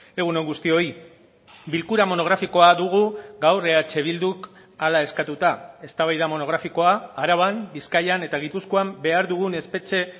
egun on guztioi bilkura monografikoa dugu gaur eh bilduk hala eskatuta eztabaida monografikoa araban bizkaian eta gipuzkoan behar dugun espetxe